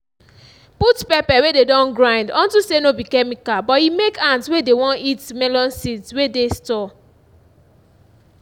put pepper wey dey don grind unto say no be chemical but e make ants wey dey won eat melon seeds wey dey store